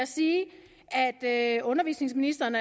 sige at undervisningsministeren